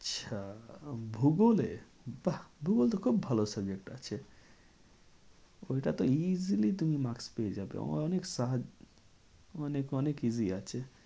আচ্ছা ভূগোলে? বাহ ভূগোল তো খুব ভালো subject আছে ওইটা তো easily তুমি maks পেয়ে যাবে অনেক অনেক অনেক easily আছে।